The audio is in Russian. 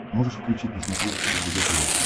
можешь включить на смотрешке ржд тв